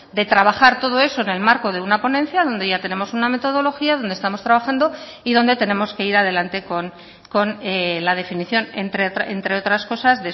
de trabajar todo eso en el marco de una ponencia donde ya tenemos una metodología donde estamos trabajando y donde tenemos que ir adelante con la definición entre otras cosas